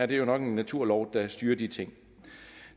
det er nok en naturlov der styrer de ting